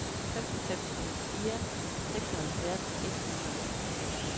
fem fem en fire seksoghalvfjerds et hundrede og ni